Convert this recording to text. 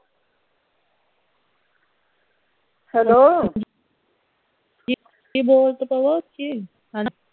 hello ਬੋਲ ਤਾਂ ਪਵੋ ਉੱਚੀ